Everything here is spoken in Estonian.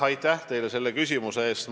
Aitäh teile selle küsimuse eest!